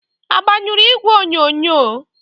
Agbanyụrụ igwe onyonyo?